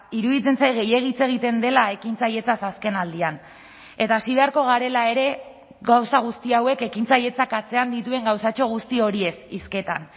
iruditzen zait gehiegi hitz egiten dela ekintzailetzaz azkenaldian eta hasi beharko garela ere gauza guzti hauek ekintzailetzak atzean dituen gauzatxo guzti horiez hizketan